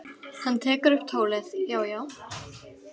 Hann tekur upp tólið: Já, já.